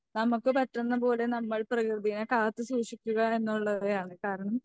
നമുക്ക് പറ്റുന്ന പോലെ നമ്മൾ പ്രകൃതിനെ കാത്തു സൂക്ഷിക്കുക എന്നുള്ളവയാണ് കാരണം